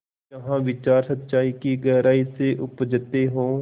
जहाँ विचार सच्चाई की गहराई से उपजतें हों